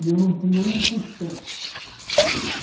E eu não tinha um tostão.